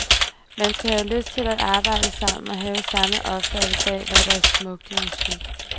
Man skal have lyst til at arbejde sammen og have samme opfattelse af, hvad der er smukt i musik.